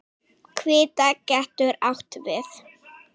Hvíta getur átt við